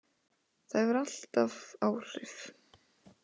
Það hefur alltaf áhrif.